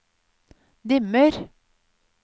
dimmer